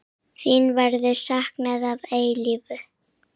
Þín verður saknað að eilífu.